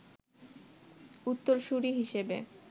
উত্তরসুরী হিসেবে